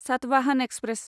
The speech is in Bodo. सातवाहन एक्सप्रेस